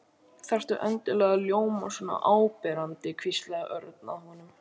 Þarftu endilega að ljóma svona áberandi hvíslaði Örn að honum.